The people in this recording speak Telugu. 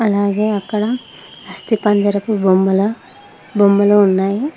అలాగే అక్కడ అస్థిపంజరపూ బొమ్మల బొమ్మలు ఉన్నాయి.